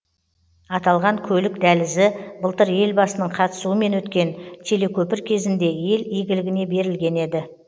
аталған көлік дәлізі былтыр елбасының қатысуымен өткен телекөпір кезінде ел игілігіне берілген еді